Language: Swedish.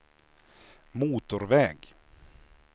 motorväg